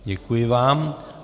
Děkuji vám.